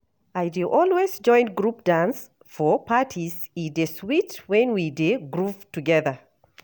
I dey always join group dance for parties, e dey sweet when we dey groove together.